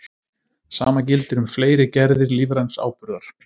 Sama gildir um fleiri gerðir lífræns áburðar.